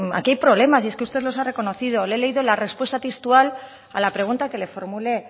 aquí hay problemas y es que usted los ha reconocido le he leído la respuesta textual a la pregunta que le formulé